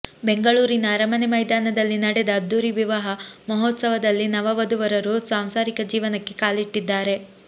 ಬೆಂಗಳೂರಿನ ಅರಮನೆ ಮೈದಾನದಲ್ಲಿ ನಡೆದ ಅದ್ಧೂರಿ ವಿವಾಹ ಮಹೋತ್ಸವದಲ್ಲಿ ನವ ವಧು ವರರು ಸಾಂಸಾರಿಕ ಜೀವನಕ್ಕೆ ಕಾಲಿಟ್ಟಿದ್ದಾರೆ